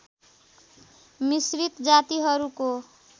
मिश्रित जातिहरूको